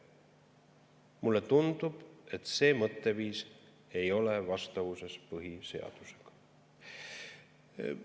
Mulle tundub, et see mõtteviis ei ole vastavuses põhiseadusega.